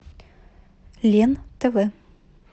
лен тв